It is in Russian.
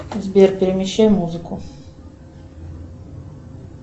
сбер перемещай музыку